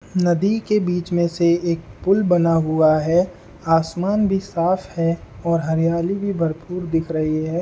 नदी के बीच में से एक पूल बना हुआ है आसमान भी साफ है और हरियाली भी भरपूर दिख रही है।